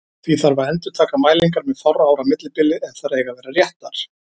Því þarf að endurtaka mælingar með fárra ára millibili ef þær eiga að vera réttar.